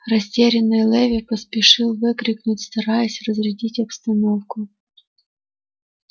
растерянный леви поспешил выкрикнуть стараясь разрядить обстановку